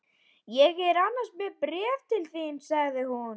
Ég er annars með bréf til þín sagði hún.